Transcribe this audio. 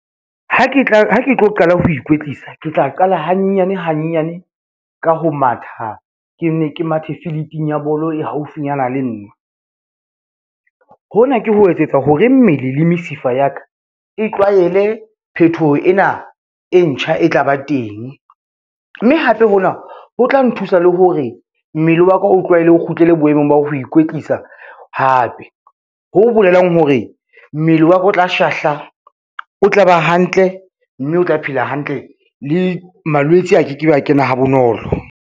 Ha ke tlo qala ho ikwetlisa, ke tla qala hanyenyane hanyenyane ka ho matha, ke nne ke mathe field-ing ya bolo e haufinyana le nna. Hona ke ho etsetsa hore mmele le mesifa ya ka e tlwaele phethoho ena e ntjha e tla ba teng, mme hape hona ho tla nthusa le hore mmele wa ka o tlwaele o kgutlele boemong ba ho ikwetlisa hape. Ho bolelang hore mmele wa ka o tla shahla, o tla ba hantle, mme o tla phela hantle le malwetse a ke ke be a kena ha bonolo.